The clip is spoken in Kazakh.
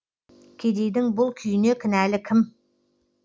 кедейдің бұл күйіне кінәлі кім